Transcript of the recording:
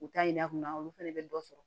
U t'a yira kunna olu fana bɛ dɔ sɔrɔ